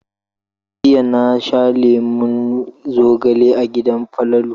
Jiya na sha lemon zogale a gidan Falalu.